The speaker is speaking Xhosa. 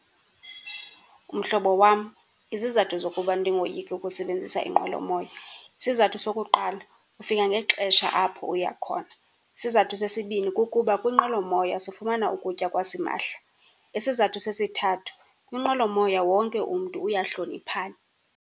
Mhlobo wam, izizathu zokuba ndingoyiki ukusebenzisa inqwelomoya, isizathu sokuqala, ufika ngexesha apho uya khona. Isizathu sesibini kukuba kwinqwelomoya sifumana ukutya kwasimahla. Isizathu sesithathu, kwinqwelomoya wonke umntu uyahloniphana.